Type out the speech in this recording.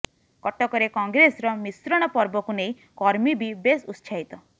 କଟକରେ କଂଗ୍ରେସର ମିଶ୍ରଣ ପର୍ବକୁ ନେଇ କର୍ମୀ ବି ବେଶ ଉତ୍ସାହିତ